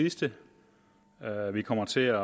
sidste vi kommer til at